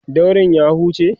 daurin ya huce?